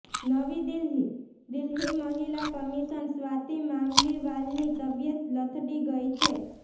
નવી દિલ્હીઃ દિલ્હી મહિલા કમિશન સ્વાતિ મામલીવાલની તબિયત લથડી ગઇ છે